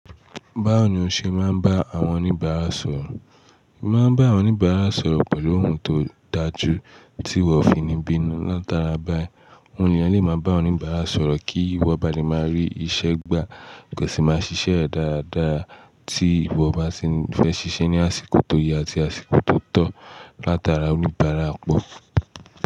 Báwo ni o ṣe máa ń bá àwọn oníbàárà sọ̀rọ̀? Máa ń bá àwọn oníbàárà sọ̀rọ̀ pẹ̀lú ohùn tó dáa jù, tí wọ́n fi ní bínu. Látara báyìí, òun nìyẹn lè máa bá oníbàárà sọ̀rọ̀ kí wọ́n ba lè máa rí iṣẹ́ gbá. Ẹ̀sìn máa ṣiṣẹ́ dáadáa tí ìwọ bá ṣi fẹ́ ṣiṣẹ́ ní àsìkò tó yẹ àti àsìkò tó tọ́, látara oníbàárà pọ̀.